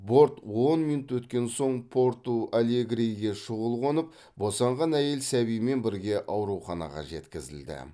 борт он минут өткен соң порту алегриге шұғыл қонып босанған әйел сәбиімен бірге ауруханаға жеткізілді